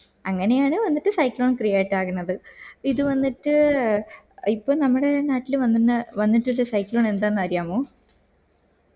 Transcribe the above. അങ്ങനെയാണ് വന്നിട്ട് cyclone create ആകുന്നത് ഇത് വന്നിട്ട് ഇപ്പൊ നമ്മുടെ നാട്ടില് വന്നിട്ടിള്ള cyclone എന്തെന്ന് അറിയാമോ